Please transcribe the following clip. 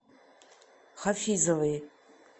хафизовой